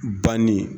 Banni